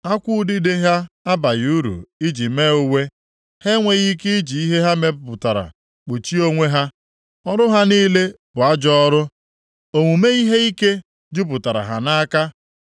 Akwụ udide ha abaghị uru iji mee uwe, ha enweghị ike iji ihe ha mepụtara kpuchie onwe ha. Ọrụ ha niile bụ ajọ ọrụ, omume ihe ike jupụtara ha nʼaka.